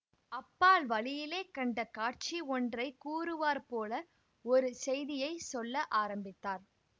அப்பால் வழியிலே கண்ட காட்சி ஒன்றை கூறுவார்போல ஒரு செய்தியை சொல்ல ஆரம்பித்தார்